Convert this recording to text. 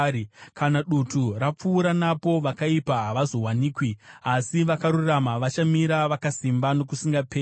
Kana dutu rapfuura napo, vakaipa havazowanikwi, asi vakarurama vachamira vakasimba nokusingaperi.